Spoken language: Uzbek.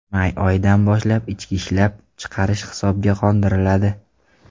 May oyidan boshlab ichki ishlab chiqarish hisobiga qondiriladi.